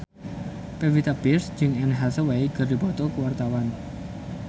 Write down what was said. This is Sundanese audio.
Pevita Pearce jeung Anne Hathaway keur dipoto ku wartawan